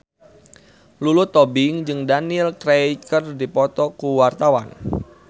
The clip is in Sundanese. Lulu Tobing jeung Daniel Craig keur dipoto ku wartawan